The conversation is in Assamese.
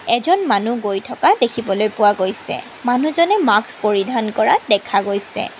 এজন মানুহ গৈ থকা দেখিবলৈ পোৱা গৈছে মানুহজনে মাস্ক পৰিধান কৰা দেখা গৈছে।